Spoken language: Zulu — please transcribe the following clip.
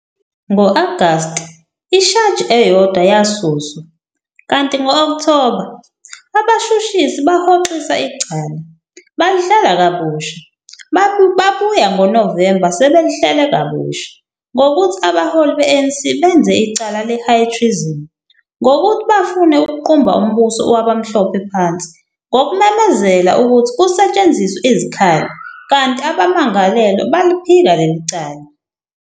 Ngo-Agast ishaji eyodwa yasuswa, kanti ngo-Okthoba, abashushisi bahoxisa icala, balihlela kabusha, babuya ngoNovemba sebelihlele kabusha, ngokuthi abaholi be-ANC benze icala le-high treason, ngouthi bafune ukuqumba umbuso wabamhlophe phansi ngokumemezela ukuthi kusetshenziswe izikhali, kanti abamangalelwa baliphika leli cala.